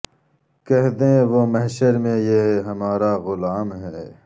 کہہ دیں و ہ محشر میں یہ ہمارا غلام ہے